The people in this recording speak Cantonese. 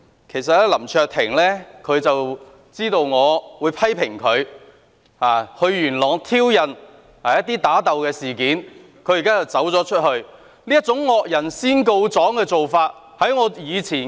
其實林卓廷議員知道我會對他到元朗挑釁人打鬥的事件作出批評，現在卻離開會議廳。